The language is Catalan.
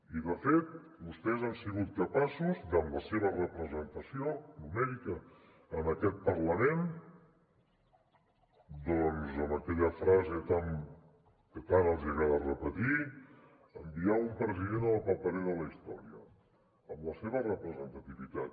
i de fet vostès han sigut capaços amb la seva representació numèrica en aquest parlament doncs amb aquella frase que tant els agrada repetir d’ enviar un president a la paperera de la història amb la seva representativitat